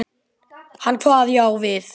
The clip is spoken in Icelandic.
Hann kvað já við því.